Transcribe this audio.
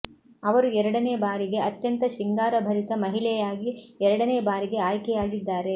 ಅವರು ಎರಡನೇ ಬಾರಿಗೆ ಅತ್ಯಂತ ಶೃಂಗಾರಭರಿತ ಮಹಿಳೆಯಾಗಿ ಎರಡನೇ ಬಾರಿಗೆ ಆಯ್ಕೆಯಾಗಿದ್ದಾರೆ